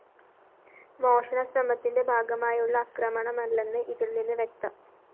മോഷണശ്രമത്തിന്റെ ഭാഗമായുള്ള ആക്രമണമല്ലെന്ന് ഇതില്‍ നിന്ന് വ്യക്തം